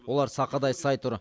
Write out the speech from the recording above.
олар сақадай сай тұр